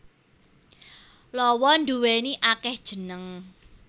Lawa nduwéni akéh jeneng